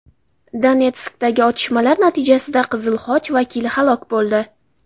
Donetskdagi otishmalar natijasida Qizil Xoch vakili halok bo‘ldi.